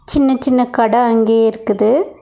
சின்ன சின்ன கட அங்யே இருக்குது.